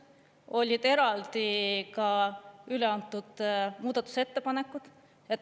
Olid eraldi ka üle antud muudatusettepanekud.